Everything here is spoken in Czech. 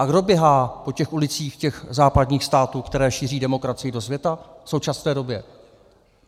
A kdo běhá po těch ulicích těch západních států, které šíří demokracii do světa v současné době?